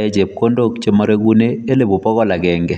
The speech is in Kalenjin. rapishek chesiree elipu pokol ak agenge